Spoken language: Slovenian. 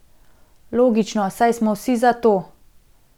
Logično, saj smo vsi za to.